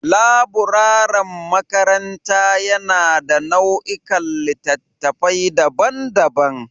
Laburaren makaranta yana da nau'ikan littattafai daban-daban